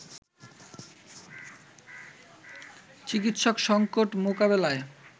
চিকিৎসক সংকট মোকাবেলায়